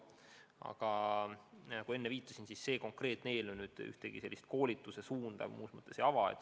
Aga nagu ma enne viitasin, see konkreetne eelnõu ühtegi uut koolituse suunda ei ava.